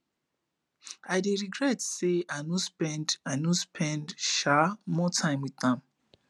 i dey regret say i regret say i no spend um more time with am